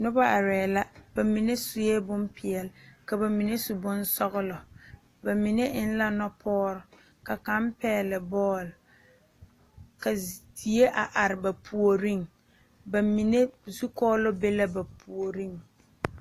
Noba arɛɛ la ba mine sue bompeɛle ka ba mine su bonsɔgelɔ ba mine eŋ la nupɔɔrɔ ka kaŋ pɛgele bɔɔl ka die a are ba puoriŋ ba mine zukɔɔloŋ be la ba puoriŋ